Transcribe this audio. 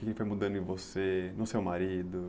O que foi mudando em você, no seu marido.